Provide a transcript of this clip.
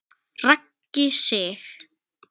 Raggi Sig.